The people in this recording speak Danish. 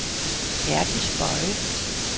Herdis Boye